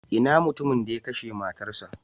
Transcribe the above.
Ina mutumin da ya kashe matarsa?